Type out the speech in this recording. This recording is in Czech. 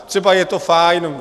Třeba je to fajn.